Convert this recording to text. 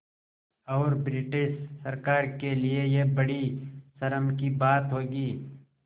और ब्रिटिश सरकार के लिये यह बड़ी शर्म की बात होगी